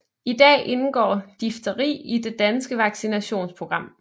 I dag indgår difteri i det danske vaccinationsprogram